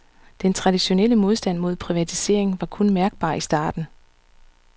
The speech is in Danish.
Den traditionelle modstand mod privatisering var kun mærkbar i starten.